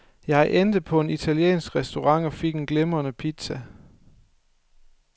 Jeg endte på en italiensk restaurant og fik en glimrende pizza.